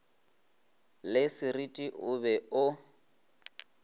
le sereti o be o